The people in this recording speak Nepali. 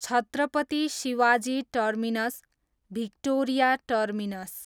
Chhatrapati Shivaji terminus, Victoria terminus